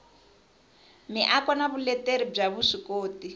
miako na vuleteri bya vuswikoti